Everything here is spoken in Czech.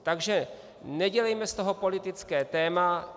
Takže nedělejme z toho politické téma.